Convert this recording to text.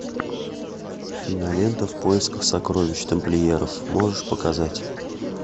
кинолента в поисках сокровищ тамплиеров можешь показать